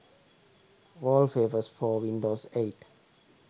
wallpapers for windows 8